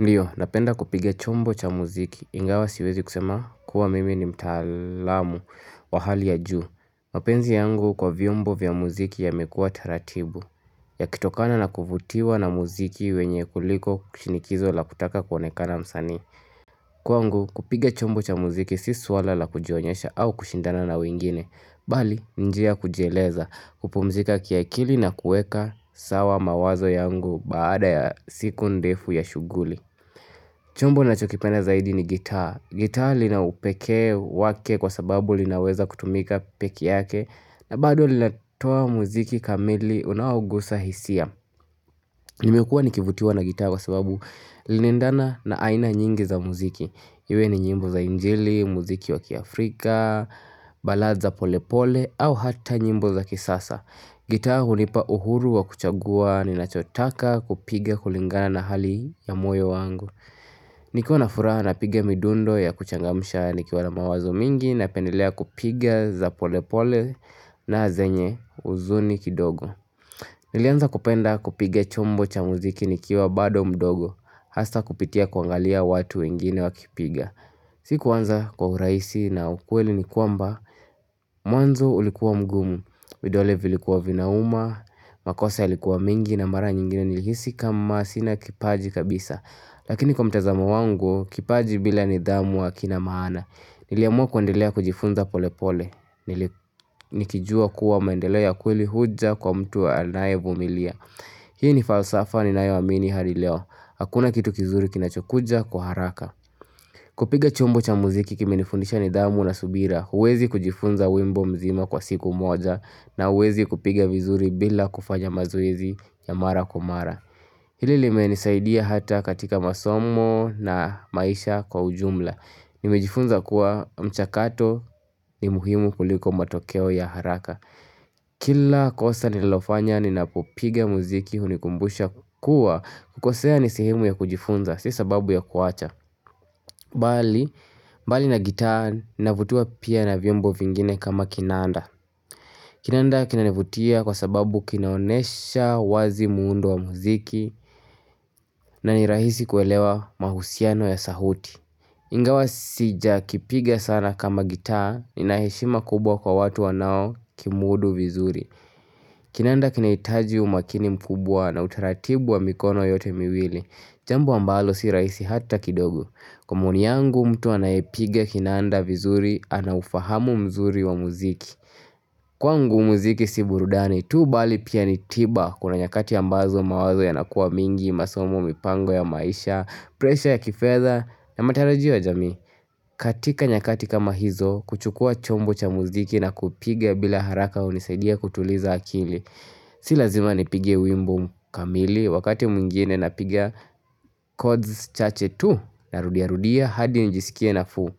Ndiyo, napenda kupiga chombo cha muziki, ingawa siwezi kusema kuwa mimi ni mtaalamu wa hali ya juu. Mapenzi yangu kwa vyombo vya muziki yamekuwa taratibu, yakitokana na kuvutiwa na muziki wenyewe kuliko shinikizo la kutaka kuonekana msanii. Kwangu, kupiga chombo cha mziki, si swala la kujionyesha au kushindana na wengine. Bali, ni njia ya kujieleza, kupumzika kiakili na kuweka sawa mawazo yangu baada ya siku ndefu ya shughuli. Chombo ninachokipenda zaidi ni gitaa. Gitaa lina upekee wake kwa sababu linaweza kutumika peke yake na bado linatoa mziki kamili unaogusa hisia. Nimekuwa nikivutiwa na gitaa kwa sababu linaendana na aina nyingi za mziki. Iwe ni nyimbo za injili, muziki wakiAfrika, balaa za pole pole au hata nyimbo za kisasa. Gitaa hunipa uhuru wa kuchagua, ninachotaka kupiga kulingana na hali ya moyo wangu. Nikiwa na furaha napiga midundo ya kuchangamsha nikiwa na mawazo mingi napendelea kupiga za pole pole na zenye huzuni kidogo Nilianza kupenda kupiga chombo cha mziki nikiwa bado mdogo hasa kupitia kuangalia watu wengine wakipiga Sikuanza kwa urahisi na ukweli ni kwamba mwanzo ulikuwa mgumu, vidole vilikuwa vinauma, makosa yalikuwa mingi na mara nyingine nilihisi kama sina kipaji kabisa Lakini kwa mtazamo wangu, kipaji bila nidhamu hakina maana, niliamua kuendelea kujifunza pole pole, nikijua kuwa maendeleo ya kweli huja kwa mtu anaye vumilia. Hii ni falsafa ninayoamini hadi leo, hakuna kitu kizuri kinachokuja kwa haraka. Kupiga chombo cha muziki kimenifundisha nidhamu na subira, huwezi kujifunza wimbo mzima kwa siku moja na huwezi kupiga vizuri bila kufanya mazoezi ya mara kwa mara. Hili limenisaidia hata katika masomo na maisha kwa ujumla Nimejifunza kuwa mchakato ni muhimu kuliko matokeo ya haraka Kila kosa ninalofanya ninapopiga mziki hunikumbusha kuwa kukosea nisehemu ya kujifunza, si sababu ya kuacha Bali, bali na gitaa ninavutiwa pia na vyombo vingine kama kinanda Kinanda kinanivutia kwa sababu kinaonyesha wazi muundo wa muziki na ni rahisi kuelewa mahusiano ya sauti Ingawa sijakipiga sana kama gitaa Ninaheshima kubwa kwa watu wanaokimudu vizuri Kinanda kinahitaji umakini mkubwa na utaratibu wa mikono yote miwili Jambo ambalo si rahisi hata kidogo Kwa maoni yangu mtu anayepiga kinanda vizuri anaufahamu mzuri wa mziki Kwangu mziki si burudani tu bali pia ni tiba kuna nyakati ambazo mawazo yanakuwa mingi masomo, mipango ya maisha Pressure ya kifedha na matarajio ya jamii katika nyakati kama hizo kuchukua chombo cha mziki na kupiga bila haraka hunisaidia kutuliza akili Si lazima nipige wimbo kamili Wakati mwingine napiga Codes chache tu Narudiarudia hadi njisikie nafuu